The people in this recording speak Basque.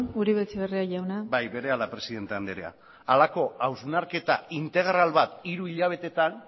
uribe etxebarria jauna bai berehala presidente andrea ez dakit horrelako hausnarketa integral bat hiru hilabetetan